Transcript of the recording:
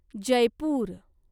Jaipur